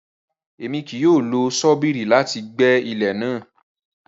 Rara, Èmí kìí yóò lo ṣobírì láti gbẹ ilẹ náà